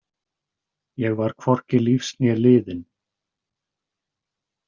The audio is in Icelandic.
Ég var hvorki lífs né liðinn.